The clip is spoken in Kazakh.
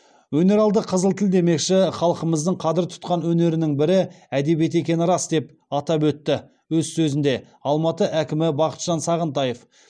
өнер алды қызыл тіл демекші халқымыздың қадір тұтқан өнерінің бірі әдебиет екені рас деп атап өтті өз сөзінде алматы әкімі бақытжан сағынтаев